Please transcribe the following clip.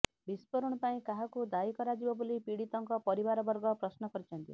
ବିସ୍ଫୋରଣ ପାଇଁ କାହାକୁ ଦାୟୀ କରାଯିବ ବୋଲି ପୀଡ଼ିତଙ୍କ ପରିବାରବର୍ଗ ପ୍ରଶ୍ନ କରିଛନ୍ତି